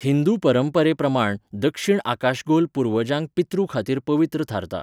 हिंदू परंपरेप्रमाण दक्षिण आकाशगोल पुर्वजांक पितृ खातीर पवित्र थारता.